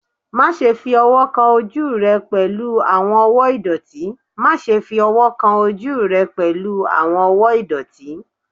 Maṣe fi ọwọ kan oju rẹ pẹlu awọn ọwọ idọti! Maṣe fi ọwọ kan oju rẹ pẹlu awọn ọwọ idọti!